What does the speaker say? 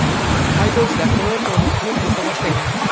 Haydovchilar Toyota’ni quvib o‘ta boshlagan.